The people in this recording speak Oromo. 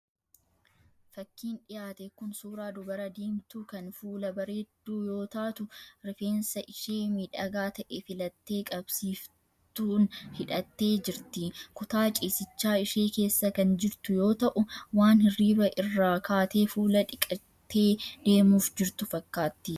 Fakkiin dhiyaate kun, suuraa dubara diimtuu, kan fuula barreeddu yoo taatu, rifeensa ishee miidhagaa ta'e filattee qabsiiftuun hidhattee jirti. Kutaa ciisichaa ishee keessa kan jirtu yoo ta'u, waan hirriba irraa kaatee fuula dhiqattee deemuuf jirtu fakkaatti.